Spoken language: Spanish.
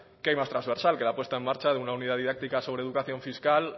qué hay más trasversal que la puesta en marcha de una unidad didáctica sobre educación fiscal